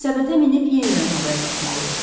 Səbətə minib yenidən havaya qalxmalıyıq.